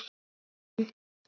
Þú getur rétt ímyndað þér!